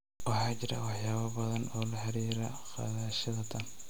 Waxaa jira waxyaabo badan oo laxiriira qaadashada tan.